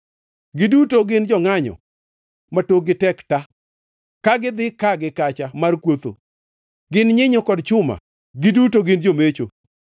Giduto gin jongʼanyo ma tokgi tek ta, ka gidhi ka gi kacha mar kuotho. Gin nyinyo kod chuma; giduto gin jomecho.